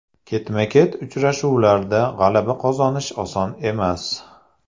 Ketma-ket uchrashuvlarda g‘alaba qozonish oson emas.